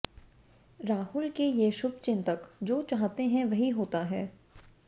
राहुल के ये शुभचिंतक जो चाहते हैं वही होता है